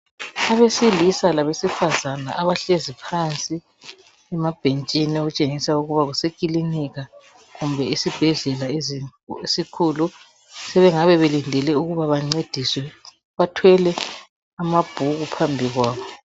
Abesilisa labesifazana abahlezi phansi emabhentshini okutshengisa ukuba kusekilinika kumbe esibhedlela esikhulu. Sebengabe belindile ukuba bancediswe bathwele amabhuku phambi kwabo.